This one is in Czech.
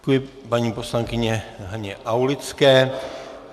Děkuji paní poslankyni Haně Aulické.